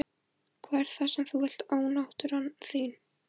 Hvað er það sem þú vilt ónáttúran þín?